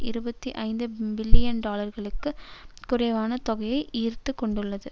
இருபத்தி ஐந்து பில்லியன் டாலர்களுக்கு குறைவான தொகையையே ஈர்த்து கொண்டுள்ளது